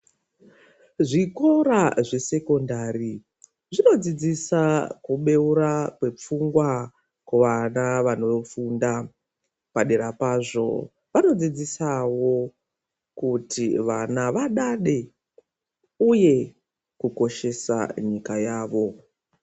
Zvikora zvesekondari zvinodzidzisa kubeura kwepfungwa kuvana vanofunda padera pazvo vanodzidzisawo kuti vana vadade uye kukoshesa nyika yavo .